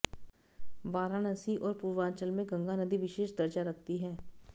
वाराणसी और पूर्वांचल में गंगा नदी विशेष दर्जा रखती है